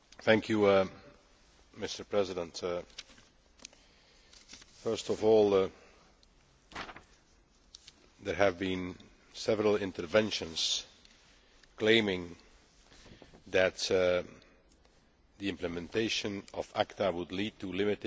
Mr President, first of all, there have been several interventions claiming that the implementation of ACTA would lead to limiting civil liberties,